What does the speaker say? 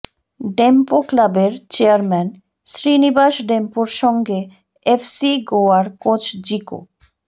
ডেম্পো ক্লাবের চেয়ারম্যান শ্রীনিবাস ডেম্পোর সঙ্গে এফ সি গোয়ার কোচ জিকো